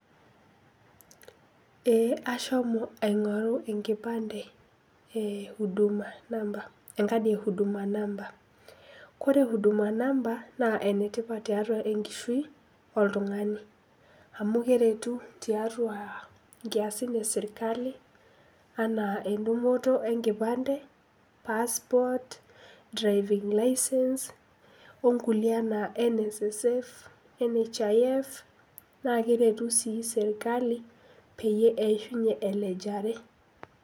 Ee ashomo aingoru enkipande e huduma namba, enckadie huduma namba . Ore huduma namba naa ene tippat tiatua enkishui oltungani amu keretu tiatua isiatin e sirkali anaa edungoto enkipande ,passport, driving licence , onkulie anaa Nssf , nhif , naa keretu sii sirkali peyie eishunye elejare.